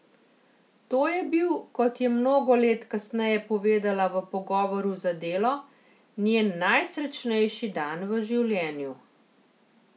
To je bil, kot je mnogo let kasneje povedala v pogovoru za Delo, njen najsrečnejši dan v življenju.